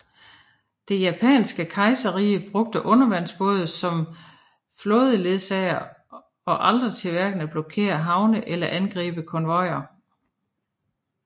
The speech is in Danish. Det japanske kejserrige brugte undervandsbåde som flådeledsagere og aldrig til hverken at blokere havne eller angribe konvojer